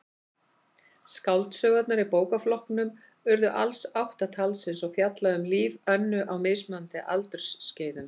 Skáldsögurnar í bókaflokknum urðu alls átta talsins og fjalla um líf Önnu á mismunandi aldursskeiðum.